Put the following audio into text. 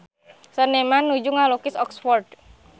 Seniman nuju ngalukis Oxford